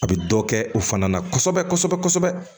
A bɛ dɔ kɛ o fana na kosɛbɛ kosɛbɛ kosɛbɛ